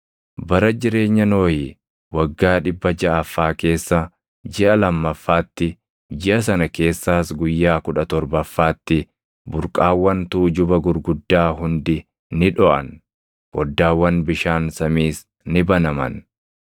Bara jireenya Nohi waggaa dhibba jaʼaffaa keessa, jiʼa lammaffaatti, jiʼa sana keessaas guyyaa kudha torbaffaatti burqaawwan tuujuba gurguddaa hundi ni dhoʼan; foddaawwan bishaan samiis ni banaman.